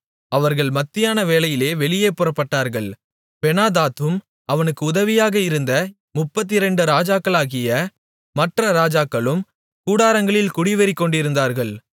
அவர்கள் மத்தியான வேளையிலே வெளியே புறப்பட்டார்கள் பெனாதாத்தும் அவனுக்கு உதவியாக வந்த 32 ராஜாக்களாகிய மற்ற ராஜாக்களும் கூடாரங்களில் குடிவெறி கொண்டிருந்தார்கள்